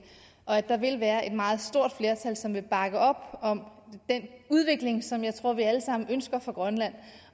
og at der vil være et meget stort flertal som vil bakke op om den udvikling som jeg tror vi alle sammen ønsker for grønland